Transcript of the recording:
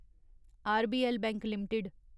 RBL bank limited